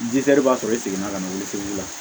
b'a sɔrɔ i seginna ka na wuli